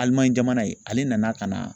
jamana ye ale nana ka na